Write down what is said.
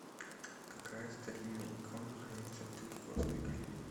какая старинная икона хранится в третьяковской галерее